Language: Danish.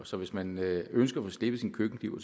så hvis man ønsker at få slebet sin køkkenkniv